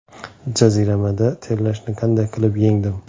Jaziramada terlashni qanday qilib yengdim?.